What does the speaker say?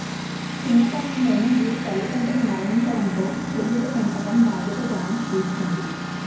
చిన్నతనంలోనే వీరి తల్లిదండ్రులు మరణించడంతో చెల్లెలు పెంపకం బాధ్యత జానకి తీసుకుంటుంది